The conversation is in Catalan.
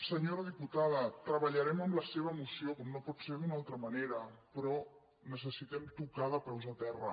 senyora diputada treballarem amb la seva moció com no pot ser d’una altra manera però necessitem to·car de peus a terra